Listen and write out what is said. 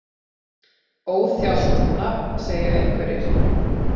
Óþjált nafn segja einhverjir?